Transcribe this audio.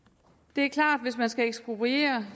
det er klart at hvis man skal ekspropriere